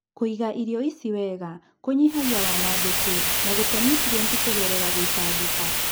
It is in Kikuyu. kwĩiga irio ici wega kũnyihagia wanangĩku na gũte niutrienti kũgerera gũitangĩka.